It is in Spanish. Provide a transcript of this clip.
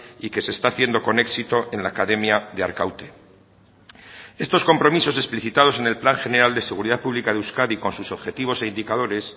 y que se está haciendo con éxito en la academia de arkaute estos compromisos explicitados en el plan general de seguridad pública de euskadi con sus objetivos e indicadores